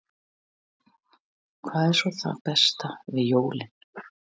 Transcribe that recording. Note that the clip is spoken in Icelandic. Hafsteinn: Hvað er svo það besta við jólin?